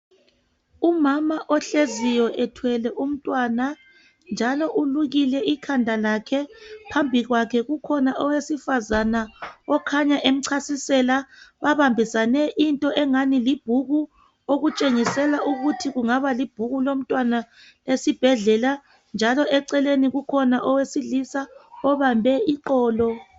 Umama ohleziyo ethwele umntwana, njalo ulukile ikhanda lakhe. Phambi kwakhe kukhona owesifazana okhanye emchasisela. Babambisane into engani libhuku okutshengisela ukuthi kungaba libhuku lomntwana esibhedlela, njalo eceleni kukhona owesilisa obambe iqolo.